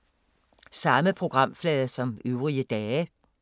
Samme programflade som øvrige dage